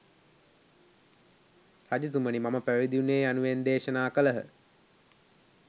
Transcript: රජතුමනි මම පැවිදි වුනේ යනුවෙන් දේශනා කළහ.